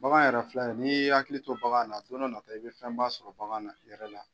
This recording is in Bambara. Bagan yɛrɛ filɛ n'i hakili to bagan na don dɔ natɔ i bɛ fɛnba sɔrɔ bagan na yɛrɛ la